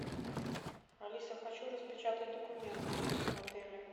алиса хочу распечатать документы в отеле